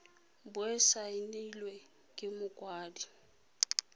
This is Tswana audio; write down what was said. bo e saenilwe ke mokwaledi